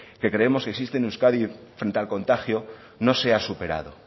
que creemos que existe en euskadi frente al contagio no sea superado